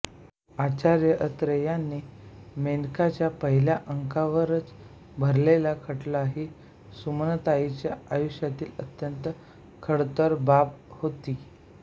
आचार्य अत्रे यांनी मेनकाच्या पहिल्या अंकावरच भरलेला खटला ही सुमनताईच्या आयुष्यातील अत्यंत खडतर बाब होती